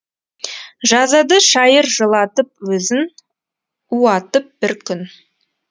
жазады шайыр жылатып өзін уатып бір күн